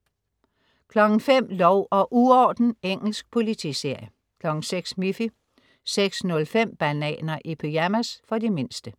05.00 Lov og uorden. Engelsk politiserie 06.00 Miffy 06.05 Bananer i pyjamas. For de mindste